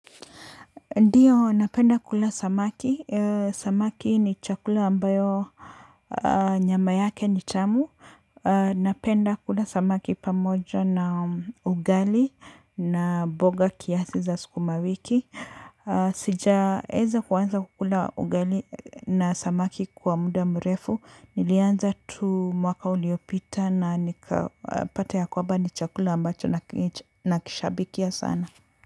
Ndiyo, napenda kula samaki. Samaki ni chakula ambayo nyama yake ni tamu. Napenda kula samaki pamoja na ugali na mboga kiasi za sukuma wiki. Sijaeza kuanza kukula ugali na samaki kwa muda mrefu. Nilianza tu mwaka uliopita na nikapata ya kwamba ni chakula ambacho nakishabikia sana.